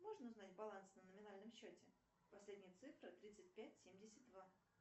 можно узнать баланс на номинальном счете последние цифры тридцать пять семьдесят два